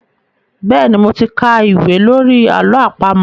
Bẹ́ẹ̀ni, mo ti ka ìwé lórí àlọ́ àpamọ̀.